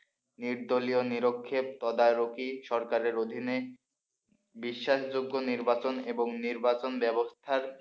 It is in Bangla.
নির্দলীয় নিরক্ষে তদারকি সরকারের অধীনে বিশ্বাসযোগ্য নির্বাচন এবং নির্বাচন ব্যবস্থার,